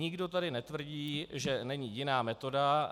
Nikdo tady netvrdí, že není jiná metoda.